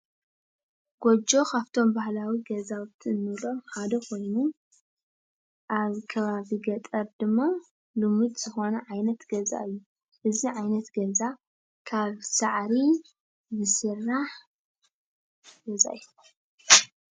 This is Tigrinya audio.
ጎጆ ካፍቶም ባህላዊ ገዛውቲ እንብሎም ሓደ ኮይኑ ኣብ ከባቢ ገጠር ድማ ልሙድ ዝኾነ ዓይነት ገዛ እዩ፡፡ እዚ ዓይነት ገዛ ካብ ሳዕሪ ዝስራሕ ገዛ እዩ፡፡